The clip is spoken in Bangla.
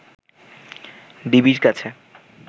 ডিবির কাছে